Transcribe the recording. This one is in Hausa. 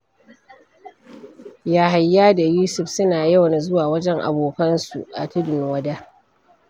Yahaya da Yusuf suna yawan zuwa wajen abokansu a Tudun Wada.